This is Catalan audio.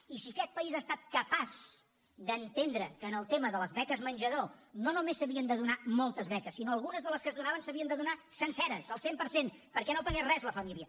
i si aquest país ha estat capaç d’entendre que en el tema de les beques menjador no només s’havien de donar moltes beques sinó que algunes de les que es donaven s’havien de donar senceres al cent per cent perquè no pagués res la família